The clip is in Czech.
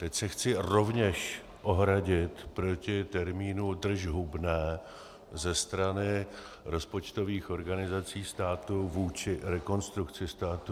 Teď se chci rovněž ohradit proti termínu držhubné ze strany rozpočtových organizací státu vůči Rekonstrukci státu.